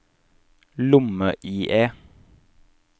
lomme-IE